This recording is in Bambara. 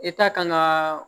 E ta kan ŋaa